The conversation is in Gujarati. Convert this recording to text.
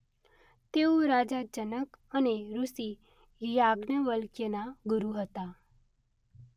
તેઓ રાજા જનક અને ઋષિ યાજ્ઞવલ્ક્યના ગુરૂ હતા.